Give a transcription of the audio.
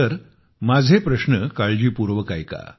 तर माझे प्रश्न काळजीपूर्वक ऐका